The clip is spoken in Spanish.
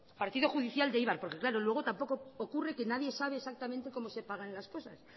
partido judicial de eibar porque claro luego tampoco ocurre que nadie sabe exactamente cómo se pagan las cosas